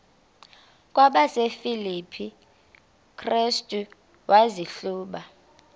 kwabasefilipi restu wazihluba